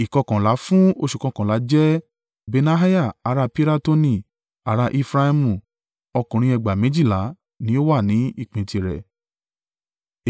Ìkọkànlá fún oṣù kọkànlá jẹ́ Benaiah ará Piratoni ará Efraimu ọkùnrin ẹgbàá méjìlá (24,000) ni ó wà ní ìpín tirẹ̀.